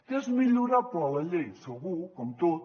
que és millorable la llei segur com tot